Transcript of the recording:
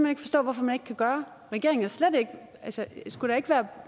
ikke forstå hvorfor man ikke kan gøre regeringen skulle da ikke være